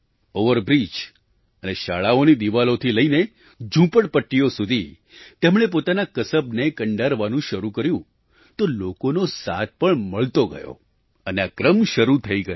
over bridge અને શાળાઓની દીવાલોથી લઈને ઝૂંપડપટ્ટીઓ સુધી તેમણે પોતાના કસબને કંડારવાનું શરૂ કર્યું તો લોકોનો સાથ પણ મળતો ગયો અને આ ક્રમ શરૂ થઈ ગયો